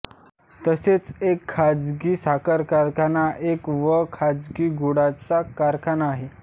तसेच एक खाजगी साखर कारखाना एक व खाजगी गुळाचा कारखाना आहे